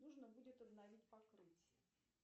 нужно будет обновить покрытие